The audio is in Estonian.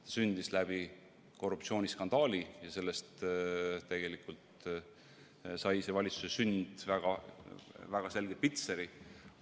See sündis läbi korruptsiooniskandaali ja see pani tegelikult selle valitsuse sünnile väga selge pitseri.